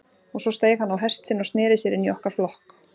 Og svo steig hann á hest sinn og sneri sér inn í okkar flokk.